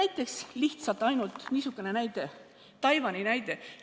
Toon lihtsalt niisuguse näite, Taiwani näite.